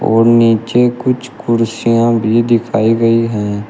और नीचे कुछ कुर्सियां भी दिखाई गई हैं।